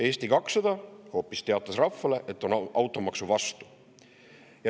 Eesti 200 teatas rahvale hoopis, et on automaksu vastu.